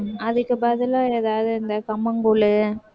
அதுக்கு பதிலா ஏதாவது இந்த கம்மங்கூழ்